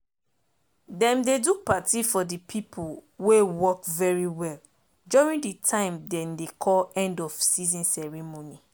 dem dey do party for de pipo wey work very well during de tin dem dey call end of season ceremony